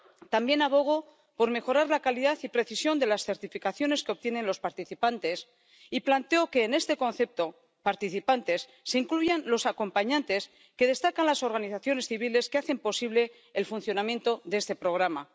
También abogo por mejorar la calidad y precisión de las certificaciones que obtienen los participantes y planteo que en este concepto, participantes, se incluya a los acompañantes que destacan las organizaciones civiles que hacen posible el funcionamiento de este programa.